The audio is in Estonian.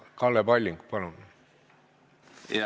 Kalle Palling, palun!